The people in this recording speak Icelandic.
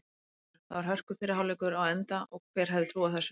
Hálfleikur: Þá er hörku fyrri hálfleikur á enda og hver hefði trúað þessu??